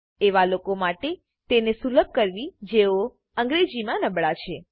એવા લોકો માટે તેને સુલભ કરવી જેઓ અંગ્રેજીમાં નબળા છે